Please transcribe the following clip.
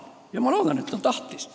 Ja ma loodan, et ta on tahtnud.